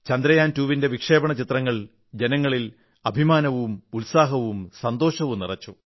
ചന്ദ്രയാൻ 2 ന്റെ വിക്ഷേപണ ചിത്രങ്ങൾ ജനങ്ങളിൽ അഭിമാനവും ഉത്സാഹവും സന്തോഷവും നിറച്ചു